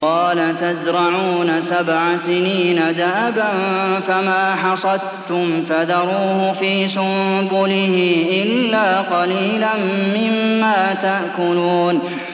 قَالَ تَزْرَعُونَ سَبْعَ سِنِينَ دَأَبًا فَمَا حَصَدتُّمْ فَذَرُوهُ فِي سُنبُلِهِ إِلَّا قَلِيلًا مِّمَّا تَأْكُلُونَ